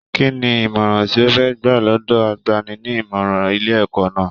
Kínní ìmọràn tí o fẹ gbà lọdọ àgbàni-ní-ìmọràn ilé ẹ̀kọ́ náà?